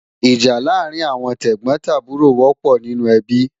Ìjà láàrín àwọn tẹ̀gbọ́n tàbúrò wọ́pọ̀ nínú ẹbí